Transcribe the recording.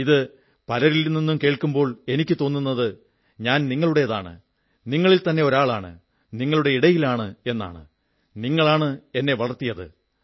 ഇത് പലരിൽ നിന്നും കേൾക്കുമ്പോൾ എനിക്കു തോന്നുന്നത് ഞാൻ നിങ്ങളുടേതാണ് നിങ്ങളിൽത്തന്നെ ഒരാളാണ് നിങ്ങളുടെ ഇടയിലാണ് ഞാൻ നിങ്ങളാണ് എന്നെ വളർത്തിയത്